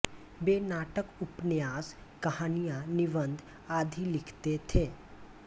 वे नाटक उपन्यास कहानियाँ निबंध आदि लिखते थे